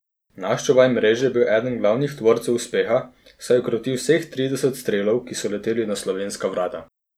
Naš čuvaj mreže je bil eden glavnih tvorcev uspeha, saj je ukrotil vseh trideset strelov, ki so leteli na slovenska vrata.